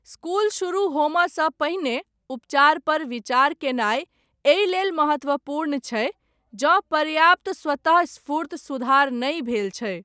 School शुरू होमयसँ पहिने उपचार पर विचार कयनाय, एहि लेल महत्वपूर्ण छै जँ पर्याप्त स्वतःस्फूर्त सुधार नहि भेल छै।